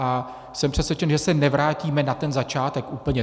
A jsem přesvědčen, že se nevrátíme na ten začátek úplně.